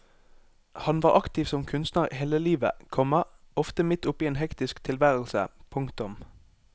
Han var aktiv som kunstner hele livet, komma ofte midt oppe i en hektisk tilværelse. punktum